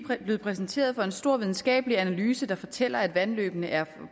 blevet præsenteret for en stor videnskabelig analyse der fortæller at vandløbene er